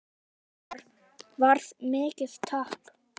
Það varð mikið tap.